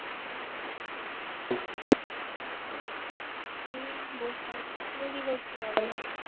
এই বসে আছি । তুমি কি করছো বলো?